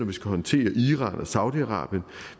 vi skal håndtere iran og saudi arabien at